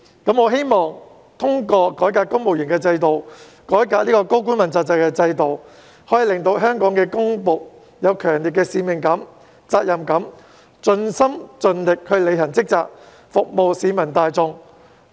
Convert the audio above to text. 我希望通過改革公務員制度、改革問責制，可以令到香港的公僕有強烈的使命感、責任感，盡心盡力履行職責，服務市民大眾。